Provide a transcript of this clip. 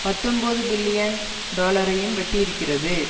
பத்தொன்பது பில்லியன் டொலரையும் வெட்டியிருக்கிறது